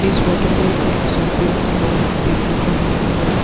इस फोटो में एक शॉपिंग मॉल देखने को मिला है।